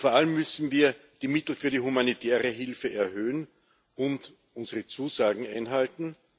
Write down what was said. Vor allem müssen wir die Mittel für die humanitäre Hilfe erhöhen und unsere Zusagen einhalten.